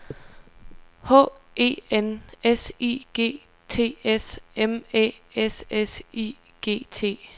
H E N S I G T S M Æ S S I G T